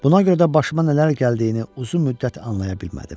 Buna görə də başıma nələr gəldiyini uzun müddət anlaya bilmədim.